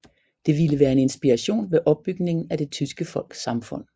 Det ville være en inspiration ved opbygningen af det tyske folks samfund